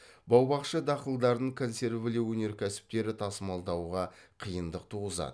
бау бақша дақылдарын консервілеу өнеркәсіптері тасымалдауға қиындық туғызады